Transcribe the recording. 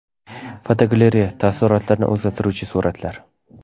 Fotogalereya: Taassurotlarni o‘zgartiruvchi suratlar.